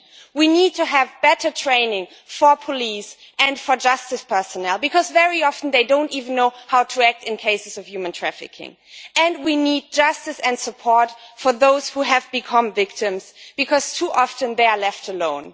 We need to have better training for police and for justice personnel, because very often they do not even know how to act in cases of human trafficking. We need justice and support for those who have become victims because too often they are left alone.